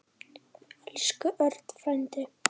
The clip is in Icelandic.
Elsku Örn frændi.